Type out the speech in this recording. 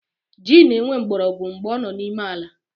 Ji na-enwe mgborogwu mgbe ọ n’ime ala